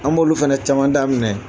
An b'olu fana caman daminɛ